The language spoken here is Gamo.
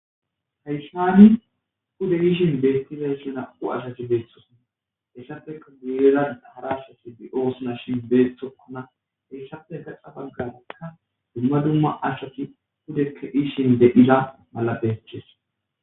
Haysan nu beyishin betizayri nam'u asati betosona hesappe guyera hara asati de'osona shin eti betokona etappe ha baganka duma duma asati pude ke'ishenne iza malatetes